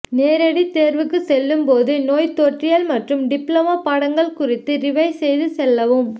நேரடி தேர்வுக்கு செல்லும் போது நோய் தொற்றியல் மற்றும் டிப்ளமோ பாடங்கள் குறித்து ரிவைஸ் செய்து செல்லவும்